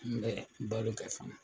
N bɛ balo kɛ fana.